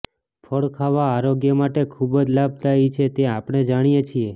ફળ ખાવા આરોગ્ય માટે ખૂબ જ લાભદાયી છે તે આપણે જાણીએ છીએ